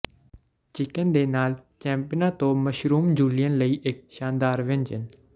chicken ਦੇ ਨਾਲ ਚੈਂਪੀਨਨਾਂ ਤੋਂ ਮਸ਼ਰੂਮ ਜੂਲੀਅਨ ਲਈ ਇੱਕ ਸ਼ਾਨਦਾਰ ਵਿਅੰਜਨ